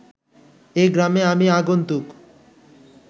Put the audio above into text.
এ গ্রামে আমি আগন্তুক